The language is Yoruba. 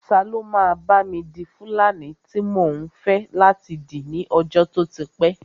Ta ló máa bá mi di fúlàní tí mò ń fẹ́ láti dì ní ọjọ́ tó ti pẹ́